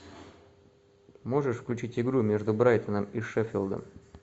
можешь включить игру между брайтоном и шеффилдом